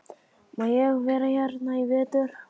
Má ég vera hérna í vetur?